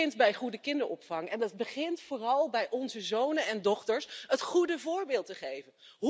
Dat begint bij goede kinderopvang en dat begint vooral bij onze zonen en dochters het goede voorbeeld te geven.